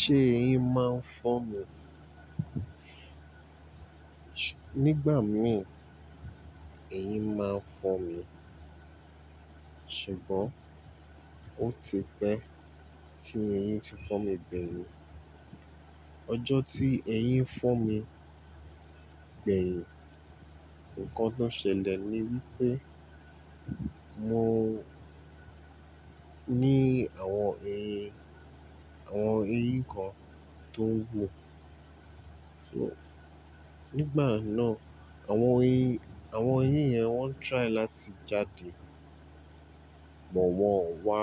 Ṣé eyín máa ń fọ́ mi? Nígbà mìí eyín máa ń fọ́ mi, ṣùgbọ́n ó ti pẹ́ tí eyín ti fọ́ mi gbẹ̀yìn. Ọjọ́ tí eyín fọ́ mi gbẹ̀yìn, nǹkan tó ṣẹlẹ̀ ni wí pé mo ní àwọn eyín, àwọn eyín kan tó ń hun. Nígbà náà, àwọn eyín, àwọn eyín yẹn wọ́n try láti jáde bọ̀ wọ́n ò wá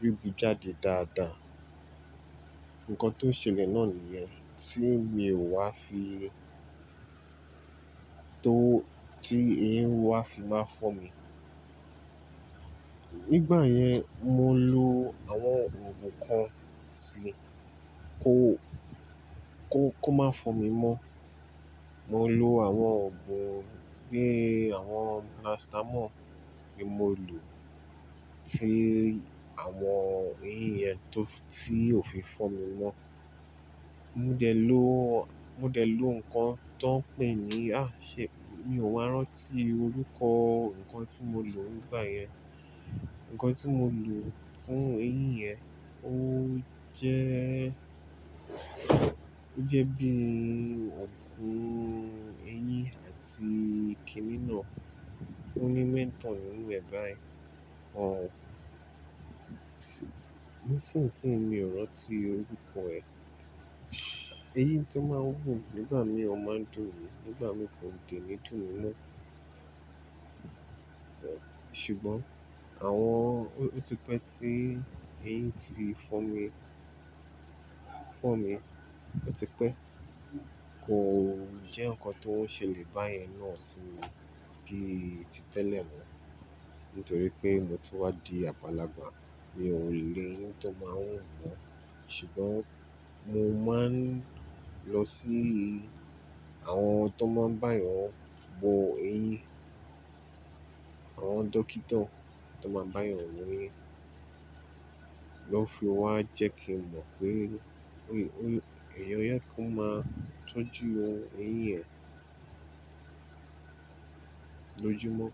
ríbi jáde dáadáa. Ǹkan tó ṣẹlẹ̀ náà nìyẹn tí mi ò wá fi, tó tí eyín ò wá fi má fọ́ mi. Nígbà yẹn, mò ń lo àwọn oògùn kan síi kó, kó, kó máa fọ́n mi mọ́. Mò ń lo àwọn oògùn bíi àwọn paracetamol ni mo lò sí àwọn eyín yẹn tó tí ò fi fọ́n mi mọ́. Mo dẹ̀ ló, mo dẹ̀ lo nǹkan tó ń pè ní, àà ṣe mi ò mọ wa rántí orúkọ nǹkan tí mo lò nígbà yẹn. Ǹkan tí mo lò fún eyín yẹn ó jẹ́, ó jẹ́ bíi oògùn eyín àti kínínáà tó ní mẹ́tọ̀ nínú ẹ̀ bá ẹ. Ọ̀ ń sìnsìn, mi ò rọ́ tí orúkọ ẹ̀. Eyin tó máa ń hun nígbà mìí ó máa ń dùn mi, nígbà mìí kò de ní dùn mí mọ́. Ṣùgbọ́n àwọn ò-- ó ti pẹ́ tí eyín ti fọ́n mi, fọ́n mi ó ti pẹ́. Kò jẹ́ nǹkan tó ń ṣẹlẹ̀ báyìí náà sí mi bíi ti tẹ́lẹ̀ mọ́. Nítorí pé mo ti wá di agbalàgbà, mi ò lè rí eyín tó máa ń hun mọ́. Ṣùgbọ́n mo máa ń lọ sí àwọn tó máa ń bá eyan wọn bọ eyín, àwọn dọ́kítà tó máa ń báyìí wọn wo eyín, lọ fi ó wá jẹ́ kí n mọ̀ pé óyè, óyè kan máa tọ́jú ohun eyín yẹn lójúmọ́.